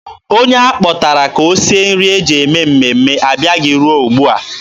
Onye a kpọtara ka o sie nri e ji eme mmemme abịabeghị ruo ugbua.